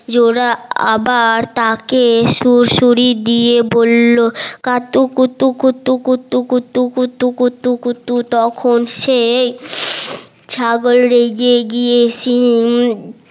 জোলা আবার তাকে সুড়সুড়ি দিয়ে বললো কাতুকুতু কুতু কুতু কুতু কুতু কুতু কুতু তখন সে ছাগল রেগে গিয়ে শিং জোরা